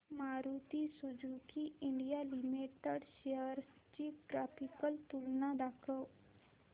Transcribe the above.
Maruti Suzuki India limited shares ची graphical तुलना दाखव